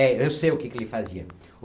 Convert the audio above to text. É, eu sei o que que ele fazia.